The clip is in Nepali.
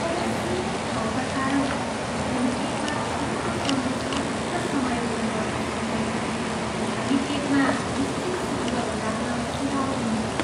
तर सीमित ठाउँका कारण, हामी केकमा छोटो सन्देश मात्र समायोजन गर्न सक्छौँ। हामी केकमा निश्चित शब्दहरू राख्न सुझाउ दिन्छौँ।